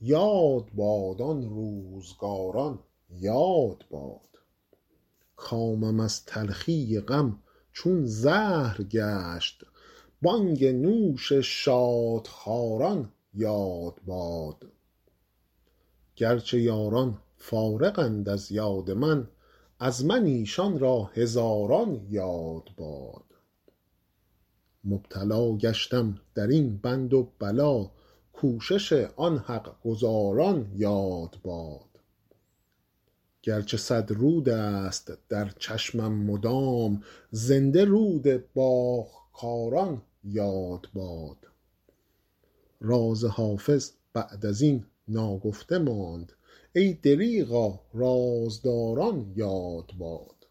یاد باد آن روزگاران یاد باد کامم از تلخی غم چون زهر گشت بانگ نوش شادخواران یاد باد گر چه یاران فارغند از یاد من از من ایشان را هزاران یاد باد مبتلا گشتم در این بند و بلا کوشش آن حق گزاران یاد باد گر چه صد رود است در چشمم مدام زنده رود باغ کاران یاد باد راز حافظ بعد از این ناگفته ماند ای دریغا رازداران یاد باد